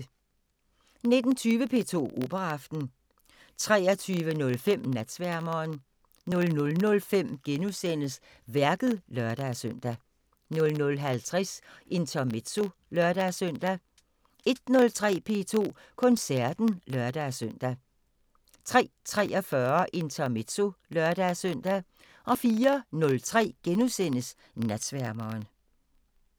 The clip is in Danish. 19:20: P2 Operaaften 23:05: Natsværmeren 00:05: Værket *(lør-søn) 00:50: Intermezzo (lør-søn) 01:03: P2 Koncerten (lør-søn) 03:43: Intermezzo (lør-søn) 04:03: Natsværmeren *